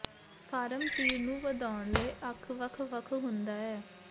farm ਤੀਰ ਨੂੰ ਵਧਾਉਣ ਲਈ ਅੱਖ ਵੱਖ ਵੱਖ ਹੁੰਦਾ ਹੈ